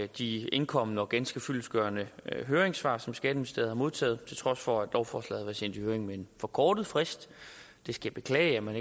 de indkomne og ganske fyldestgørende høringssvar som skatteministeriet har modtaget til trods for at lovforslaget sendt i høring med en forkortet frist jeg skal beklage at man